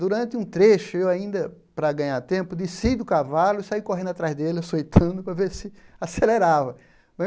Durante um trecho, eu ainda, para ganhar tempo, desci do cavalo e saí correndo atrás dele, açoitando, para ver se acelerava.